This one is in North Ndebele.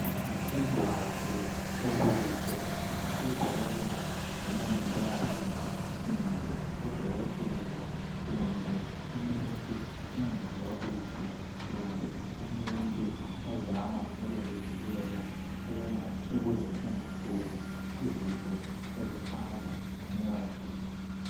Yisembatho sobuso esigqokwa ngomongikazi kumbe odokotela kumbe umuntu ongezwa kuhle kumbe umuntu ozama ukuzivikela ukuze engatholi izifo ezihamba ngomoya.